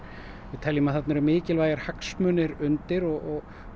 við teljum að þarna séu mikilvægir hagsmunir undir og